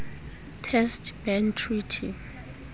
test ban treaty